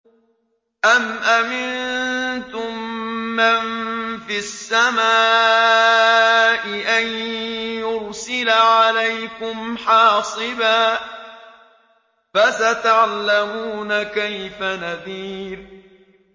أَمْ أَمِنتُم مَّن فِي السَّمَاءِ أَن يُرْسِلَ عَلَيْكُمْ حَاصِبًا ۖ فَسَتَعْلَمُونَ كَيْفَ نَذِيرِ